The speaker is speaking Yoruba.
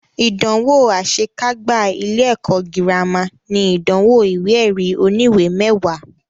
Ìdánwò àṣe kágbá ilé ẹ̀kọ́ gírámà ní ìdánwò ìwé ẹ̀rí oníwè mẹwàá.